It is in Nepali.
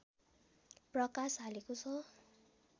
प्रकाश हालेको छ।